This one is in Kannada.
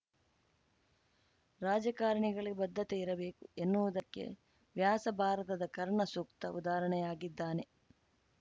ರಾಜಕಾರಣಿಗಳಿಗೆ ಬದ್ಧತೆ ಇರಬೇಕು ಎನ್ನುವುದಕ್ಕೆ ವ್ಯಾಸಭಾರತದ ಕರ್ಣ ಸೂಕ್ತ ಉದಾಹರಣೆಯಾಗಿದ್ದಾನೆ